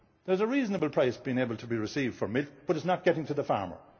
chain. There is a reasonable price being able to be received for milk, but it is not getting to the